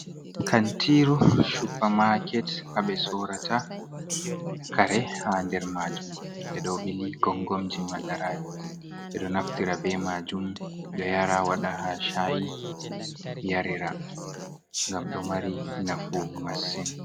Kantiru shuper maket ha ɓe sorata kare ha nder maajum. Ɓeɗo ɓili gongomiji madara. Ɓeɗo naftira be majum. Ɓeɗo ya ra, waɗa ha shayi yarira. Ngam ɗo mari nafu masin.